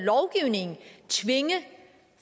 tvinge